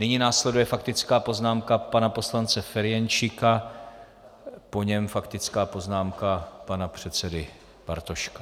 Nyní následuje faktická poznámka pana poslance Ferjenčíka, po něm faktická poznámka pana předsedy Bartoška.